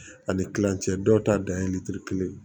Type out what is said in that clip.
Ani kilancɛ dɔw ta dan ye litiri kelen ye